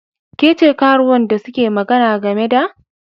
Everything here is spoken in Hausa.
Ke ce karuwan da suke magana game da?